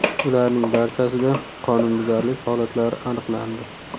Ularning barchasida qonunbuzarlik holatlari aniqlandi.